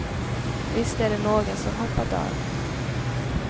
Visst är det några som hoppat av.